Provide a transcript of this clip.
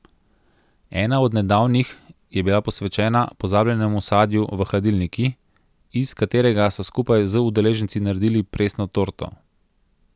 Ena od nedavnih je bila posvečena pozabljenemu sadju v hladilniki, iz katerega so skupaj z udeleženci naredili presno torto.